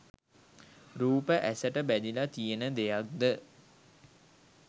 රූප ඇසට බැඳිල තියෙන දෙයක්ද?